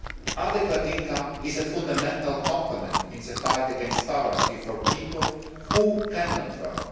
Adequate income is a fundamental component in the fight against poverty for people who cannot